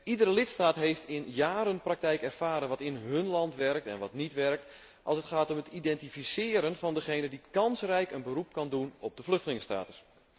Iedere lidstaat heeft jaren in praktijk ervaren wat in hun land werkt en wat niet werkt als het gaat om het identificeren van diegenen die kansrijk een beroep kunnen doen op de vluchtelingenstatus.